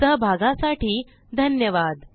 सहभागासाठी धन्यवाद